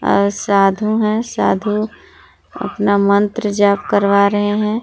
और साधु है साधु अपना मंत्र जाप करवा रहे हैं।